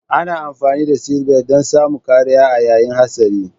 Ana amfani da sitbelt dan samun kariya a yayin hatsari